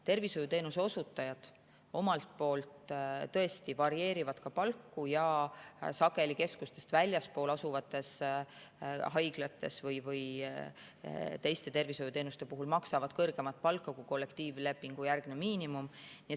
Tervishoiuteenuse osutajad omalt poolt tõesti varieerivad ka palku ja sageli keskustest väljaspool asuvates haiglates või teiste tervishoiuteenuste puhul maksavad kõrgemat palka kui kollektiivlepingujärgne miinimum.